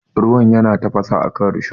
Ruwan yana tafasa akan risho.